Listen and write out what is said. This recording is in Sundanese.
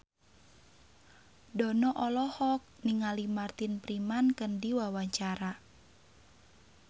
Dono olohok ningali Martin Freeman keur diwawancara